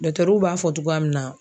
b'a fɔ cogoya min na.